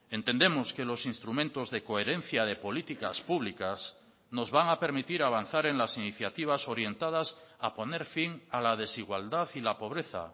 entendemos que los instrumentos de coherencia de políticas públicas nos van a permitir avanzar en las iniciativas orientadas a poner fin a la desigualdad y la pobreza